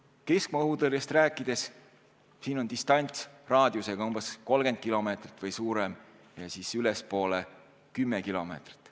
Keskmaa-õhutõrjest rääkides on siis distants raadiusega umbes 30 kilomeetrit või enam ja ülespoole siis 10 kilomeetrit.